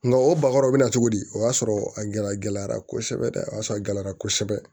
Nka o bakɔrɔ bɛ na cogo di o y'a sɔrɔ a gɛlɛyara kosɛbɛ dɛ o y'a sɔrɔ a gɛlɛyara kosɛbɛ